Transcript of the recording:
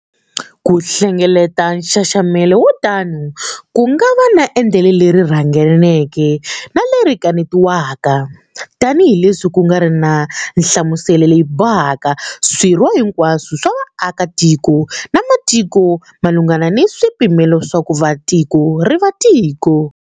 Ku hlengeleta nxaxamelo wo tano ku nga va endlelo leri rharhanganeke ni leri kanetiwaka, tanihi leswi ku nga riki na nhlamuselo leyi bohaka swirho hinkwaswo swa vaakatiko va matiko malunghana ni swipimelo swa ku va tiko ri va tiko.